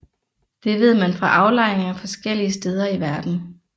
Det ved man fra aflejringer forskellige steder i verden